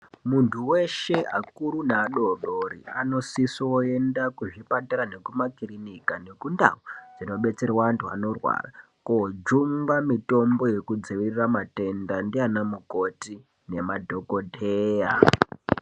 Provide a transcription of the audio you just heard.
Muntu weshe akuru neadodori anosisoenda kuzvipatara nekumakirinika nekundau dzinodetserwa antu anorwara kojungwa mitombo yekudzivirira matenda ndiana mukoti nemadhokodheya.